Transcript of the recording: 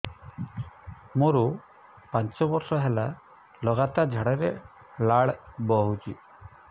ମୋରୋ ପାଞ୍ଚ ବର୍ଷ ହେଲା ଲଗାତାର ଝାଡ଼ାରେ ଲାଳ ବାହାରୁଚି